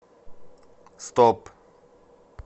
стоп